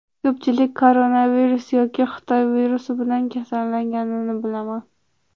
Ko‘pchilik koronavirus yoki Xitoy virusi bilan kasallanganini bilaman.